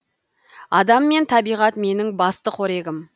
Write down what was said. адам мен табиғат менің басты қорегім